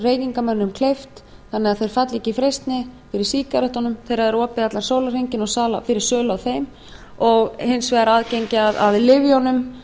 reykingamönnum kleift þannig að þeir falli ekki í freistni fyrir sígarettunum þegar það er opið allan sólarhringinn fyrir sölu á þeim og hins vegar aðgengi á lyfjunum